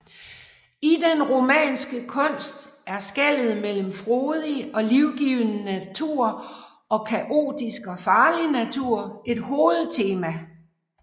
I den romanske kunst er skellet mellem frodig og livgivende natur og kaotisk og farlig natur et hovedtema